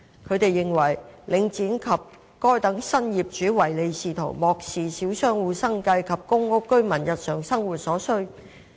他們認為，領展及該等新業主唯利是圖，漠視小商戶生計及公屋居民的日常生活所需。